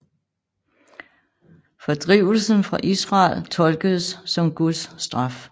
Fordrivelsen fra Israel tolkedes som Guds straf